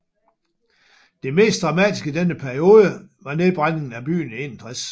Det mest dramatiske i denne periode var nedbrændingen af byen i 61